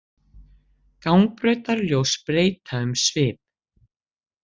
Gangbrautarljós breyta um svip